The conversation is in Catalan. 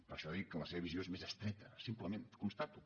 per això dic que la seva visió és més estreta simplement ho constato